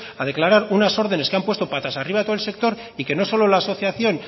a declarar unas órdenes que han puesto patas arriba todo el sector y que no solo la asociación